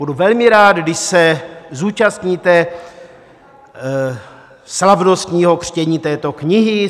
Budu velmi rád, když se zúčastníte slavnostního křtění této knihy.